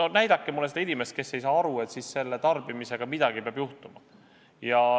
No näidake mulle seda inimest, kes ei saa aru, et siis selle kauba tarbimisega midagi peab juhtuma.